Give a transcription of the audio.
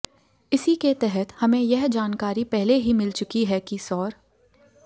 इसी के तहत हमें यह जानकारी पहले ही मिल चुकी है कि सौर